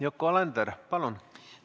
Yoko Alender, palun!